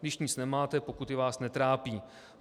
Když nic nemáte, pokuty vás netrápí.